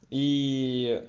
ии